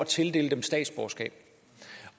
tildele dem statsborgerskab